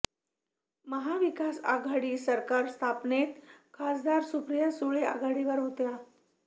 महाविकास आघाडी सरकार स्थापनेत खासदार सुप्रिया सुळे आघाडीवर होत्या